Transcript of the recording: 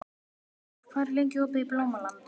Guðveigur, hvað er lengi opið í Blómalandi?